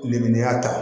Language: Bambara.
Lemuru y'a ta